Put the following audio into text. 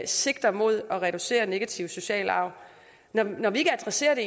sigter mod at reducere den negative sociale arv når vi ikke adresserer det